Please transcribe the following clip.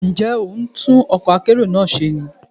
Ǹjẹ́ ò ń tún ọkọ̀ akérò náà ṣe ni?